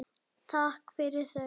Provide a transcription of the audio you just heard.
Takk fyrir þau.